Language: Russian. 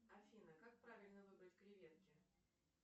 афина как правильно выбрать креветки